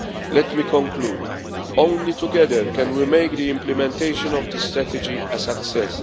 Let me conclude only together can we make the implementation of this strategy a success.